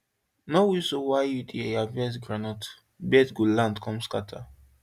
no whistle while you dey harvest groundnut birds go land come scatter